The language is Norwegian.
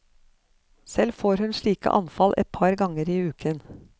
Selv får hun slike anfall et par ganger i uken.